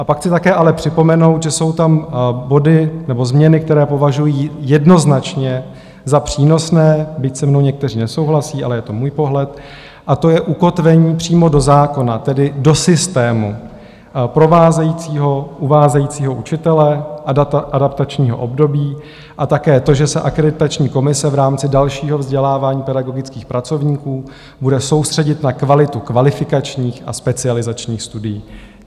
A pak chci také ale připomenout, že jsou tam body nebo změny, které považuji jednoznačně za přínosné, byť se mnou někteří nesouhlasí, ale je to můj pohled, a to je ukotvení přímo do zákona, tedy do systému provázejícího, uvádějícího učitele adaptačního období, a také to, že se akreditační komise v rámci dalšího vzdělávání pedagogických pracovníků bude soustředit na kvalitu kvalifikačních a specializačních studií.